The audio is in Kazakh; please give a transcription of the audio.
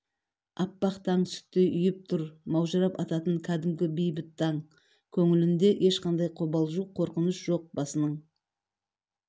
аппақ таң сүттей ұйып тұр маужырап ататын кәдімгі бейбіт таң көңілінде ешқандай қобалжу қорқыныш жоқ басының